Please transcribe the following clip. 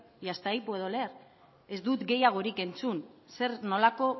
y hasta ahí puedo leer ez dut gehiagorik entzun zer nolako